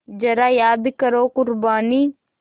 ज़रा याद करो क़ुरबानी